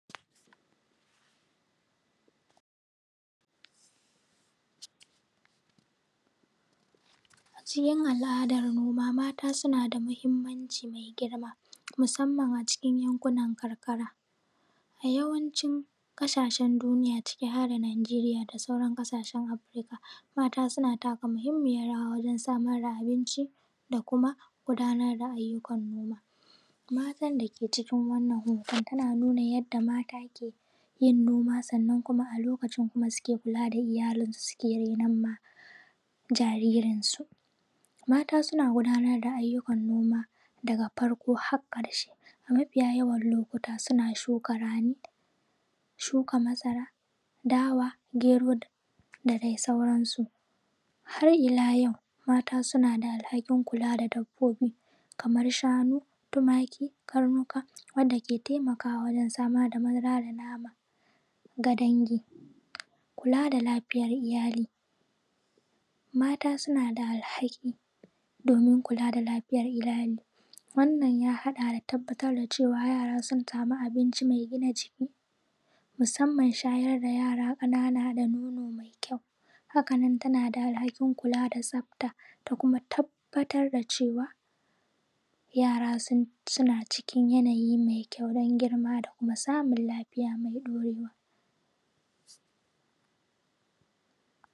Cikin al’adan gona mata suna da matuƙar mahinmanci me girma musamman a cikin yankunan karkara a yawancin ƙasashen duniya cike harda Najeriya da sauran ƙasashen Afurika mata suna taka muhunmiyan rawa wajen samar da abinci da kuma gundara ayyukan gona matan da ke cikin wannan hoto ana nuna yadda mata ke yin noma sanan kuma a lokacin suke kula da iyalinsu suke ni’enma jariransu mata suna gundanar da ayyukan noma da farko har ƙarshe a mafiya yawan lokuta suna shukan rani shuka masara dawa gyero da dai sauransu har ila yau mata suna da alhakin kula da dabbobi kamar shanu tumaki karnuka wanda ke taimakawa wajen samar da madara da nama ga dange kula da lafiyar iyali mata suna da alhaki domin kula da lafiyar iyali wannan ya haɗa da tabbatar da cewa yara suna sami abinci mai gina jiki musamman shayar da yara ƙanana da nono mai kyawu hakan nan tana da alhakin kula da tsafta da kuma tabbatar da cewa yara suna cikin yanayi mai kyawu don girma da kuma samin lafiya mai ɗorewa